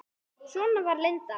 Svona var Linda.